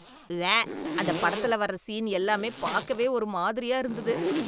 உவ்வே! அந்த படத்துல வர்ற சீன் எல்லாம் பார்க்கவே ஒரு மாதிரியா இருந்தது.